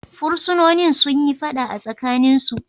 Fursunonin sun yi fada a tsakaninsu.